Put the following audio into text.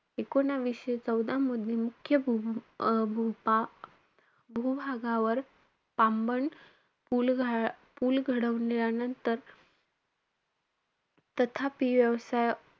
एकूणवीसशे चौदामध्ये मुख्य भू~ अं भूपा~ भूभागावर तांबन पूल घा~ पुल घडवल्यानंतर तथापि व्यवसाय,